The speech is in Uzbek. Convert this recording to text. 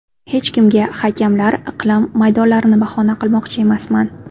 Hech kimga, hakamlar, iqlim, maydonlarni bahona qilmoqchi emasman.